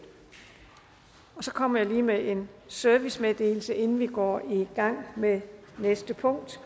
så kommer jeg lige med en servicemeddelelse inden vi går i gang med næste punkt